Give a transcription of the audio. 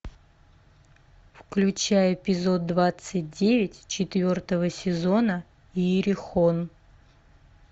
включай эпизод двадцать девять четвертого сезона иерихон